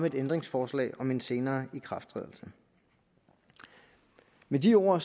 et ændringsforslag om en senere ikrafttrædelse med de ord